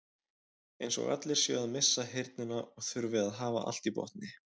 Eins og allir séu að missa heyrnina og þurfi að hafa allt í botni.